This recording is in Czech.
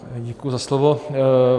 Děkuji za slovo.